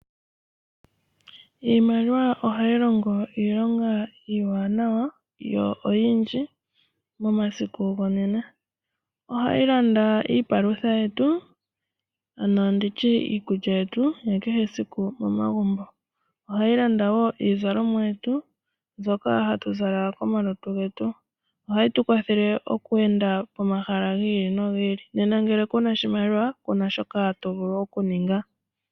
Iimaliwa ohayi longo iilonga iiwanawa yo oyindji momasiku gonena. Ohayi landa iipalutha yetu ano nditye iikulya yetu yakehe esiku momagumbo. Ohayi landa wo iizalomwa yetu mbyoka hatu zala komalutu getu. Ohayi tukwathele wo okweenda pomahala giili no giili, nena ngele kuna oshimaliwa kuna shoka tovulu okuninga.